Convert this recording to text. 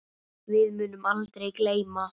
Við munum aldrei gleyma þessu.